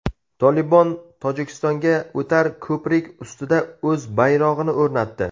"Tolibon" Tojikistonga o‘tar ko‘prik ustida o‘z bayrog‘ini o‘rnatdi.